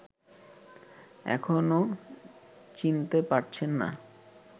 এখনো চিনতে পারছেন না